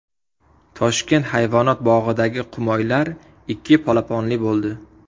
Toshkent hayvonot bog‘idagi qumoylar ikki polaponli bo‘ldi.